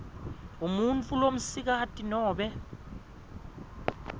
umuntfu lomsikati nobe